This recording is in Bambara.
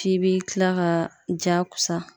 F'i bi kila ka jakosa